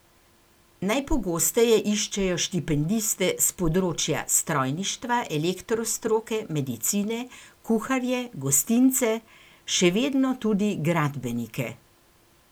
Najpogosteje iščejo štipendiste s področja strojništva, elektro stroke, medicine, kuharje, gostince, še vedno tudi gradbenike.